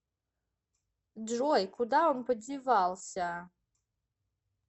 джой куда он подевался